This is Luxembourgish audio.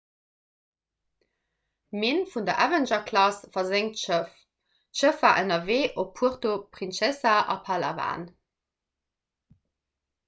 minn vun der avenger-klass versenkt schëff d'schëff war ënnerwee op puerto princesa a palawan